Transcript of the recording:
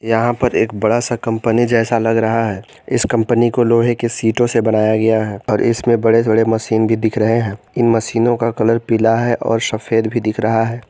यहां पर एक बड़ा सा कंपनी जैसा लग रहा है इस कंपनी को लोहे के सीटों से बनाया गया है और इसमें बड़े बड़े मशीन भी दिख रहे हैं इन मशीनों का कलर पीला है और सफेद भी दिख रहा है।